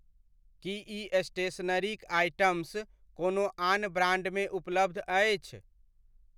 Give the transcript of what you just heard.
की ई स्टेशनरीक आइटम्स कोनो आन ब्राण्डमे उपलब्ध अछि ?